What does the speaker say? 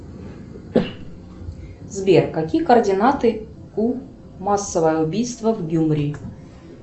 сбер какие координаты у массовое убийство в гюмри